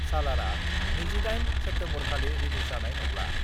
सालारआ 28 सेप्तेम्बरखालि रिलिज जानाय नंला।